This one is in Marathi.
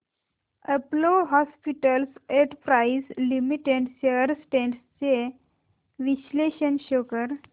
Apollo hospitals enterprise limited shares trends चे विश्लेषण शो कर